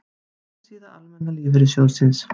Heimasíða Almenna lífeyrissjóðsins